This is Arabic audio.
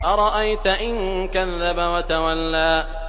أَرَأَيْتَ إِن كَذَّبَ وَتَوَلَّىٰ